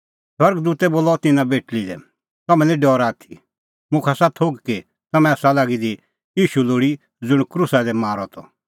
स्वर्ग दूतै बोलअ तिन्नां बेटल़ी लै तम्हैं निं डरा आथी मुखा आसा थोघ कि तम्हैं आसा लागी दी ईशू लोल़ी ज़ुंण क्रूसा दी मारअ त